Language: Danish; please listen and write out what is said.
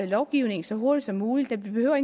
lovgivning så hurtigt som muligt vi behøver